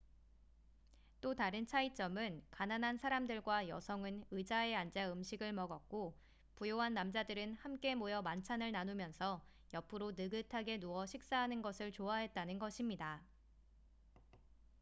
또 다른 차이점은 가난한 사람들과 여성은 의자에 앉아 음식을 먹었고 부유한 남자들은 함께 모여 만찬을 나누면서 옆으로 느긋하게 누워 식사하는 것을 좋아했다는 것입니다